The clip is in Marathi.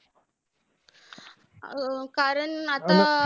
अं कारण आता